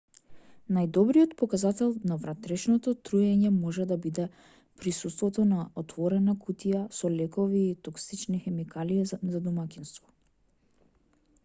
најдобриот показател на внатрешно труење може да биде присуството на отворена кутија со лекови или токсични хемикалии за домаќинство